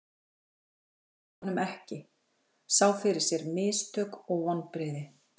Hún treysti honum ekki, sá fyrir sér mistök og vonbrigði.